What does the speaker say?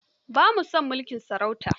Ba ma son mulkin sarauta.